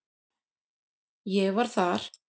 Ég var þar